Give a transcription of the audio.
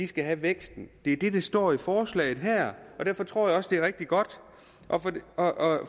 skal have væksten det er det der står i forslaget her og derfor tror jeg også at det er rigtig godt